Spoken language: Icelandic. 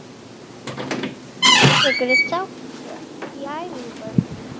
Tekurðu þátt í æfingum?